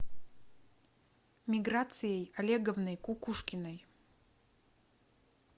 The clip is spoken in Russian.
миграцией олеговной кукушкиной